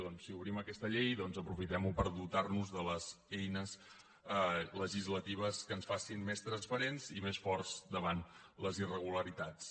doncs si obrim aquesta llei aprofitem ho per dotar nos de les eines legislatives que ens facin més transparents i més forts davant les irregularitats